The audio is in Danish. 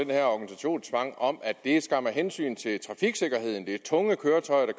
den her organisationstvang om at det skam er af hensyn til trafiksikkerheden det er tunge køretøjer der